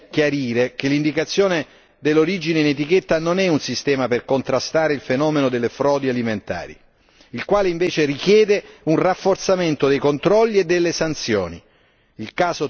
Bisogna tuttavia chiarire che l'indicazione dell'origine in etichetta non è un sistema per contrastare il fenomeno delle frodi alimentari, il quale invece richiede un rafforzamento dei controlli e delle sanzioni.